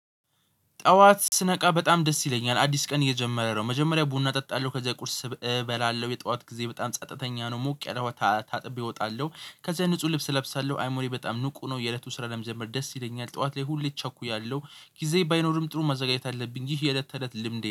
ጠዋት ስነቃ በጣም ደስ ይለኛል አዲስ ቀን እየጀመረ ነው። መጀመሪያ ቡና እጠጣለሁ ከዛ ቁርስ እበላለሁ የጧት ጊዜ በጣም ጸጥተኛ ነው። ሙቅ ያለ ውሃ ታጥቤ እወጣለሁ። ከዛ ንጹህ ልብስ እለብሳለሁ አይ ሞሪ በጣም ንቁ ነው የእለቱ ስራ ለመጀመር ደስ ይለኛል። ጠዋት ላይ ሁሌ እቸኩያለሁ ጊዜ ባይኖርም ጥሩ መዘጋጀት አለብኝ ይህ የለት ተለት ልምዴ